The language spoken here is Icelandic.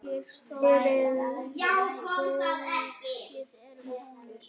Fyrir rúmri viku.